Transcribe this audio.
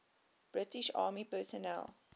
british army personnel